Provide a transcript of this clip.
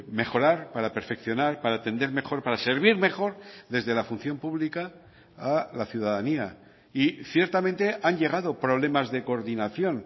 mejorar para perfeccionar para atender mejor para servir mejor desde la función pública a la ciudadanía y ciertamente han llegado problemas de coordinación